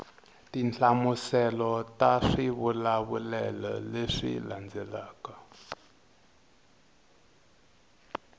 tinhlamuselo ta swivulavulelo leswi landzelaka